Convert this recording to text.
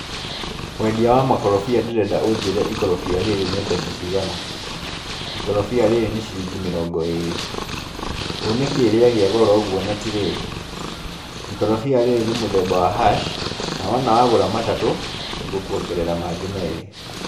Mwendia wa makorobia ndĩrenda ũnjĩre ikorobia rĩrĩ nĩ mbeca cigana? Ikorobia rĩrĩ nĩ ciringi mĩrongo ĩrĩ. Nĩ kĩĩ rĩagĩa goro ũguo na ti rĩĩru? Ikorobia rĩrĩ nĩ mũthemba wa hass na wona wagũra matatũ, nĩngũkũongerera mangĩ merĩ.